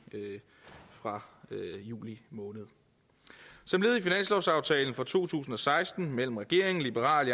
fra juli måned som led i finanslovsaftalen for to tusind og seksten mellem regeringen liberal